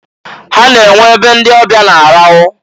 Ha na-enwe e be ndị ọbịa na-arahụ.